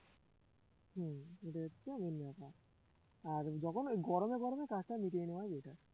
হুঁ ওদেরটা অন্য ব্যাপার আর যখন ওই গরমে গরমে কাজটা মিটিয়ে নেওয়াই better